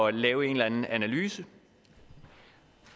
at lave en eller anden analyse